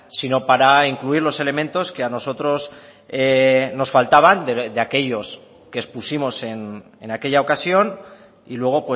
sino para incluir los elementos que a nosotros nos faltaban de aquellos que expusimos en aquella ocasión y luego